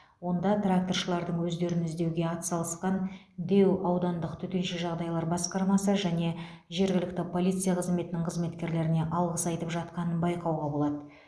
онда тракторшылардың өздерін іздеуге атсалысқан дэу аудандық төтенше жағдайлар басқармасы және жергілікті полиция қызметінің қызметкерлеріне алғыс айтып жатқанын байқауға болады